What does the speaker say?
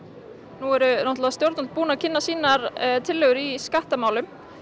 nú eru stjórnvöld búin að kynna sínar tillögur í skattamálum